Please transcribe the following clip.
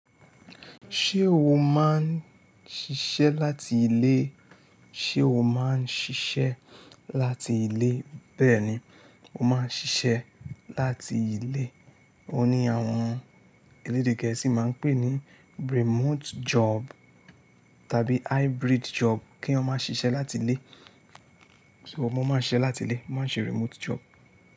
Ṣé o máa ń ṣiṣẹ́ láti ilé? Ṣé o máa ń ṣiṣẹ́ láti ilé? Bẹ́ẹ̀ni, mó máa ń ṣiṣẹ́ láti ilé. Ó ní àwọn elédè gẹ̀ẹ́sì máa ń pè ní remote job tàbí hybrid job kí eyan máa ṣiṣẹ́ láti ilé. So ọmọ máa ń ṣẹ́ láti ilé, mo máa ń ṣe remote job.